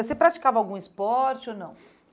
Você praticava algum esporte ou não?